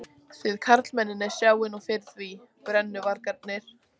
Þið karlmennirnir sjáið nú fyrir því. brennuvargarnir.